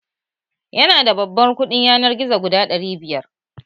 Yana da babban kuɗi yanar gizo guda ɗari biyar